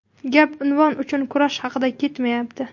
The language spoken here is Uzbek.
Gap unvon uchun kurash haqida ketmayapti.